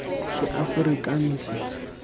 seaforikanse